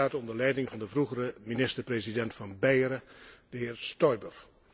die staat onder leiding van de vroegere minister president van Beieren, de heer Stoiber.